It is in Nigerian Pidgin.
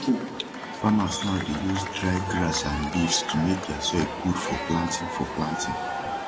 farmers now dey use dry grass and leaves to make dia soil gud for planting for planting